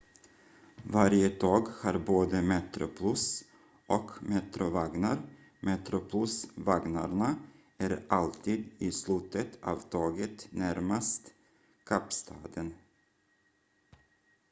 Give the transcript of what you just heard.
varje tåg har både metroplus och metro-vagnar metroplus-vagnarna är alltid i slutet av tåget närmast kapstaden